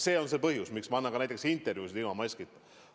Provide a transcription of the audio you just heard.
See on põhjus, miks ma annan ka intervjuusid ilma maskita.